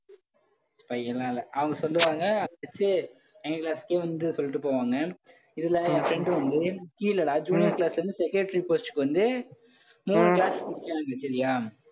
spy யெல்லாம் இல்லை. அவங்க சொல்லுவாங்க மச்சி எங்களை எங்க class க்கே வந்து சொல்லிட்டு போவாங்க. இதுல, என் friend வந்து, கீழே டா junior class ல இருந்து secretary post க்கு வந்து மூணு class முடிச்சாங்க சரியா?